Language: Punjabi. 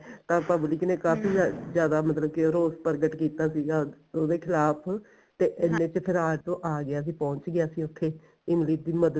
ਤਾਂ public ਨੇ ਕਾਫੀ ਜਿਆਦਾ ਮਤਲਬ ਕੀ ਰੋਸ ਪ੍ਰਗਟ ਕੀਤਾ ਸੀਗਾ ਉਹਦੇ ਖਿਲਾਫ਼ ਤੇ ਇੰਨੇ ਚ ਫੇਰ ਆਟੋ ਆ ਗਿਆ ਸੀ ਪਹੁੰਚ ਗਿਆ ਸੀ ਉੱਥੇ ਇਮਲੀ ਦੀ ਮਦਦ